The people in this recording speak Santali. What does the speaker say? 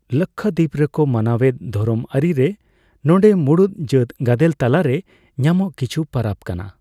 ᱞᱟᱠᱠᱷᱟᱫᱤᱯ ᱨᱮᱠᱚ ᱢᱟᱱᱟᱣᱮᱫ ᱫᱷᱚᱨᱚᱢ ᱟᱹᱨᱤ ᱨᱮ ᱱᱚᱸᱰᱮ ᱢᱩᱬᱩᱛ ᱡᱟᱹᱛ ᱜᱟᱫᱮᱞ ᱛᱟᱞᱟ ᱨᱮ ᱧᱟᱢᱚᱜ ᱠᱤᱪᱷᱩ ᱯᱟᱨᱟᱵᱽ ᱠᱟᱱᱟ ᱾